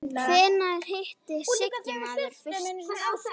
Hvenær hitti maður Sigga fyrst?